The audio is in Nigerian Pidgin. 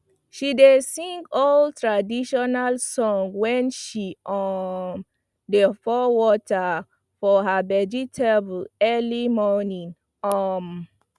she dey sing old traditional song when she um dey pour water for her vegetable early morning um